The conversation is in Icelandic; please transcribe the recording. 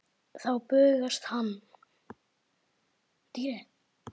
Þá bugast hann.